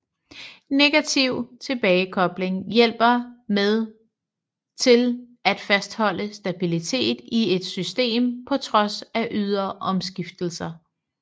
Negativ tilbagekobling hjælper med til at fastholde stabilitet i et system på trods af ydre omskiftelser